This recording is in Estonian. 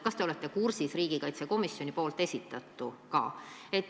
Kas te olete kursis riigikaitsekomisjoni esitatuga?